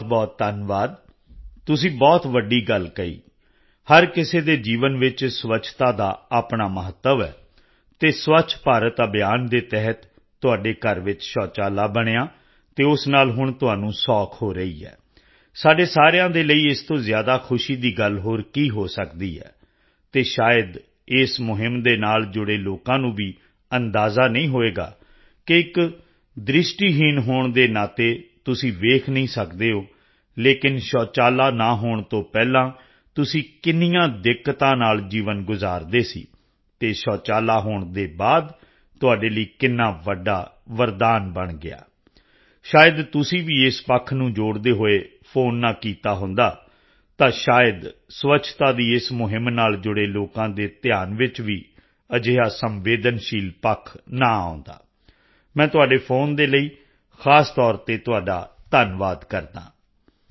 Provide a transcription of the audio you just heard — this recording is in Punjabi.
ਬਹੁਤਬਹੁਤ ਧੰਨਵਾਦ ਤੁਸੀਂ ਬਹੁਤ ਵੱਡੀ ਗੱਲ ਕਹੀ ਹਰ ਕਿਸੇ ਦੇ ਜੀਵਨ ਵਿੱਚ ਸਵੱਛਤਾ ਦਾ ਆਪਣਾ ਮਹੱਤਵ ਹੈ ਅਤੇ ਸਵੱਛ ਭਾਰਤ ਅਭਿਆਨ ਤਹਿਤ ਤੁਹਾਡੇ ਘਰ ਵਿੱਚ ਪਖਾਨਾ ਬਣਿਆ ਅਤੇ ਉਸ ਨਾਲ ਹੁਣ ਤੁਹਾਨੂੰ ਸੁਵਿਧਾ ਹੋ ਰਹੀ ਹੈ ਸਾਡੇ ਸਾਰਿਆਂ ਦੇ ਲਈ ਇਸ ਤੋਂ ਜ਼ਿਆਦਾ ਖੁਸ਼ੀ ਦੀ ਗੱਲ ਹੋਰ ਕੀ ਹੋ ਸਕਦੀ ਹੈ ਅਤੇ ਸ਼ਾਇਦ ਇਸ ਮੁਹਿੰਮ ਦੇ ਨਾਲ ਜੁੜੇ ਲੋਕਾਂ ਨੂੰ ਵੀ ਅੰਦਾਜਾ ਨਹੀਂ ਹੋਵੇਗਾ ਕਿ ਇੱਕ ਦ੍ਰਿਸ਼ਟੀਹੀਨ ਹੋਣ ਦੇ ਨਾਤੇ ਤੁਸੀਂ ਦੇਖ ਨਹੀਂ ਸਕਦੇ ਹੋ ਲੇਕਿਨ ਪਖਾਨਾ ਨਾ ਹੋਣ ਤੋਂ ਪਹਿਲਾਂ ਤੁਸੀਂ ਕਿੰਨੀਆਂ ਦਿੱਕਤਾਂ ਨਾਲ ਜੀਵਨ ਗੁਜਾਰਦੇ ਸੀ ਅਤੇ ਪਖਾਨਾ ਹੋਣ ਦੇ ਬਾਅਦ ਤੁਹਾਡੇ ਲਈ ਕਿੰਨਾ ਵੱਡਾ ਵਰਦਾਨ ਬਣ ਗਿਆ ਸ਼ਾਇਦ ਤੁਸੀਂ ਵੀ ਇਸ ਪੱਖ ਨੂੰ ਜੋੜਦੇ ਹੋਏ ਫ਼ੋਨ ਨਾ ਕੀਤਾ ਹੁੰਦਾ ਤਾਂ ਸ਼ਾਇਦ ਸਵੱਛਤਾ ਦੀ ਇਸ ਮੁਹਿੰਮ ਨਾਲ ਜੁੜੇ ਲੋਕਾਂ ਦੇ ਧਿਆਨ ਵਿੱਚ ਵੀ ਅਜਿਹਾ ਸੰਵੇਦਨਸ਼ੀਲ ਪੱਖ ਨਾ ਆਉਂਦਾ ਮੈਂ ਤੁਹਾਡੇ ਫੋਨ ਦੇ ਲਈ ਖ਼ਾਸ ਤੌਰ ਤੇ ਤੁਹਾਡਾ ਧੰਨਵਾਦ ਕਰਦਾ ਹਾਂ